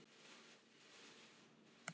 Og hvernig líður karlmenninu honum afa þínum?